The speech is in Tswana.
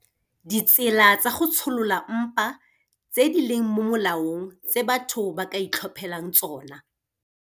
Ditsela tsa go tsholola mpa tse di leng mo molaong tse batho ba ka itlhophelang tsona.